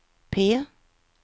P